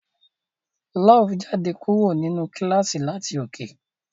Love jáde kúrò nínú kílàsì láti òkè.